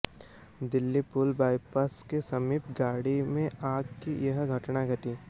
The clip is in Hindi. दिल्ली पुल बाइपास के समीप गाड़ी में आग की यह घटना घटी